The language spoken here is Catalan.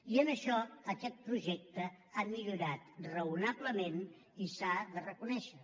i en això aquest projecte ha millorat raonablement i s’ha de reconèixer